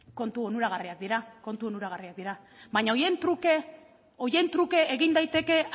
kontu onuragarriak dira baina horien truke egin daiteke